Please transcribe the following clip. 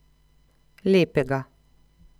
Lepega.